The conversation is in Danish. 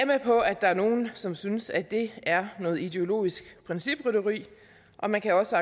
med på at der er nogle som synes at det er noget ideologisk principrytteri og man kan også